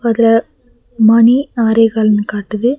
அதுல மணி ஆரே கால்னு காட்டுது.